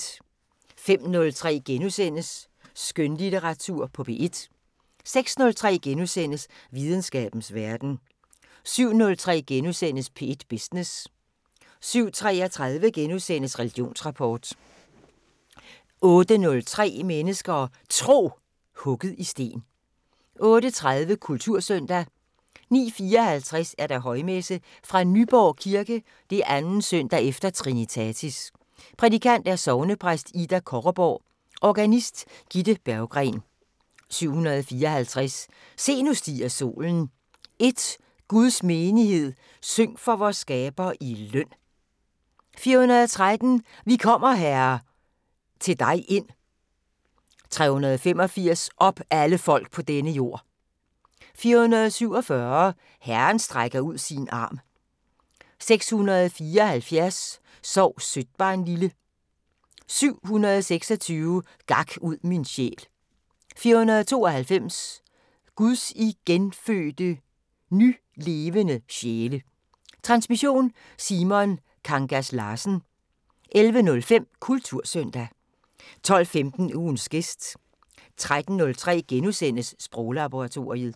05:03: Skønlitteratur på P1 * 06:03: Videnskabens Verden * 07:03: P1 Business * 07:33: Religionsrapport * 08:03: Mennesker og Tro: Hugget i sten 08:30: Kultursøndag 09:54: Højmesse - Fra Nyborg Kirke. 2. søndag efter trinitatis. Prædikant: Sognepræst Ida Korreborg. Organist: Gitte Berggren. 754: "Se nu stiger solen". 1: " Guds menighed, syng for vor skaber i løn". 413: " Vi kommer, Herre, til dig ind". 385: "Op alle folk på denne jord". 447: "Herren strækker ud sin arm". 674: "Sov sødt barnlille". 726: "Gak ud min sjæl". 492: " Guds igenfødte, ny-levende sjæle". Transmission: Simon Kangas Larsen. 11:05: Kultursøndag 12:15: Ugens gæst 13:03: Sproglaboratoriet *